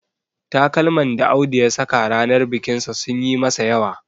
Takalman da Audu ya saka ranar bikinsa sun yi masa yawa